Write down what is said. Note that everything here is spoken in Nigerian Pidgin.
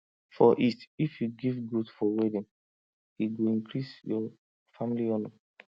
for east if you give goat for wedding e go increase your family honor